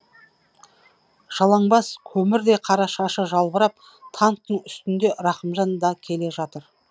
жалаңбас көмірдей қара шашы жалбырап танктің үстінде рахымжан да келе жатыр